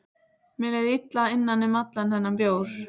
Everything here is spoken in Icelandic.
Mér leið illa innan um allan þennan bjór.